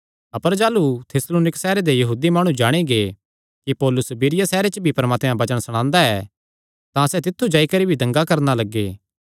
अपर जाह़लू थिस्सलुनीक सैहरे दे यहूदी माणु जाणी गै कि पौलुस बिरीया सैहरे च भी परमात्मे दा वचन सणांदा ऐ तां सैह़ तित्थु जाई करी भी दंगे करणा लग्गे